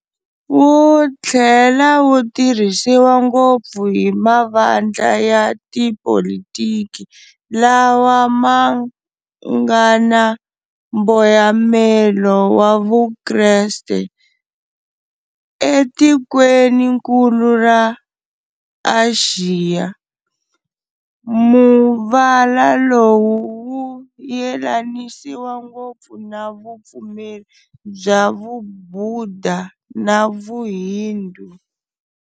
Wu thlela wutirhisiwa ngopfu hi mavandla ya tipolitiki lawa mangana mboyamelo wa vukreste. Etikweninkulu ra Axiya, muvala lowu wu yelanisiwa ngopfu na vupfumeri bya vuBhuda na vuHindu.